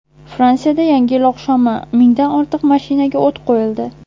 Fransiyada Yangi yil oqshomi: mingdan ortiq mashinaga o‘t qo‘yildi.